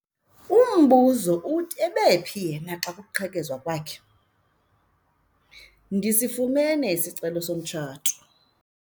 Umbuzo uthi ebephi yena xa kuqhekezwa kwakhe? ndifumene isicelo somtshato